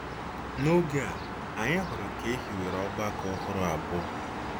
N’oge a, anyị hụrụ ka e hiwere ọgbakọ ọhụrụ abụọ.